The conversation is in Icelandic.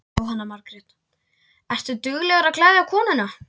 Jóhanna Margrét: Ertu duglegur að gleðja konuna?